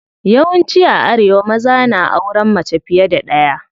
Yawan ci a arewa maza na auren mace fiye da ɗaya.